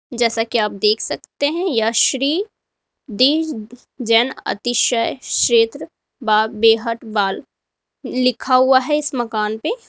जैसा कि आप देख सकते हैं यह श्री दि जैन अतिशय क्षेत्र बा बेहट बाल लिखा हुआ है इस मकान पे।